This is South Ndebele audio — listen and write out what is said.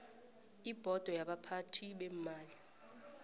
ibhodo yabaphathi beemali